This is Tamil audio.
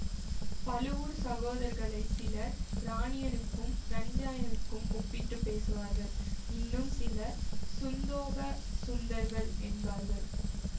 பழுவூர்ச் சகோதர்களைச் சிலர் இராணியனுக்கும் இரண்ஜாயனுக்கும் ஒப்பிட்டு பேசுவார்கள் இன்னும் சிலர் சுந்தோப சுந்தர்கள் என்பார்கள்